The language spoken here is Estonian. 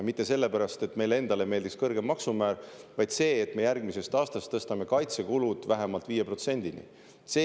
Mitte sellepärast, et meile endale meeldiks kõrgem maksumäär, vaid sellepärast, et järgmisest aastast me tõstame kaitsekulud vähemalt 5%-ni.